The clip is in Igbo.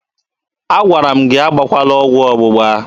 Agwara m gị agbakwala ọgwụ ọgbụgba!